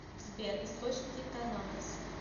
сбер источники танатос